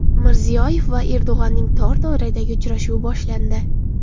Mirziyoyev va Erdo‘g‘onning tor doiradagi uchrashuvi boshlandi.